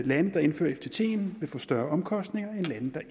lande der indfører ftt ordningen vil få større omkostninger end lande der